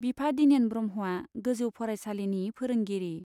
बिफा दिनेन ब्रह्मआ गोजौ फरायसालिनि फोरोंगिरि।